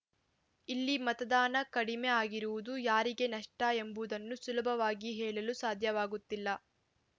ಇಲ್ಲಿ ಮತದಾನ ಕಡಿಮೆ ಆಗಿರುವುದು ಯಾರಿಗೆ ನಷ್ಟಎಂಬುದನ್ನು ಸುಲಭವಾಗಿ ಹೇಳಲು ಸಾಧ್ಯವಾಗುತ್ತಿಲ್ಲ